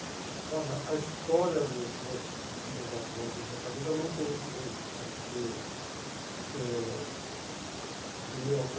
Olha, a história dos meus meus avós em Fortaleza, eu não conheço bem essa história, porque eh o meu avô